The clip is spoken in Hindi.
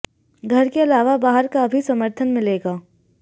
घर के अलावा बाहर का भी समर्थन मिलेगा